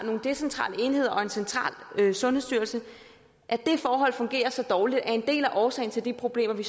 nogle decentrale enheder og en central sundhedsstyrelse fungerer så dårligt at en del af årsagen til de problemer vi